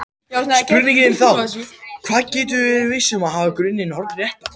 Spurningin er þá hvernig við getum verið viss um að hafa grunninn hornréttan.